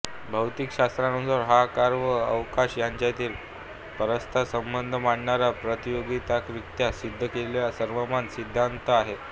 भौतिकशास्त्रानुसार हा काळ व अवकाश यांच्यातील परस्परसंबंध मांडणारा प्रायोगिकरित्या सिद्ध केलेला सर्वमान्य सिद्धान्त आहे